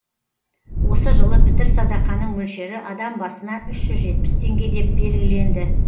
осы жылы пітір садақаның мөлшері адам басына үш жүз жетпіс теңге деп белгіленді